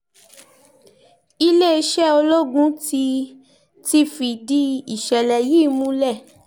iléeṣẹ́ ológun ti ti fìdí ìṣẹ̀lẹ̀ yìí múlẹ̀